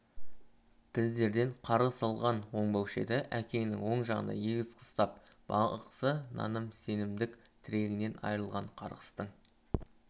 біздерден қарғыс алған оңбаушы еді әкеңнің оң жағында егіз қыз тап бағзы наным-сенімдік тірегінен айрылған қарғыстың